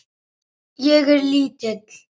Ég er lítil.